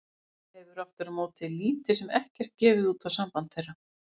Mamma hefur aftur á móti lítið sem ekkert gefið út á samband þeirra.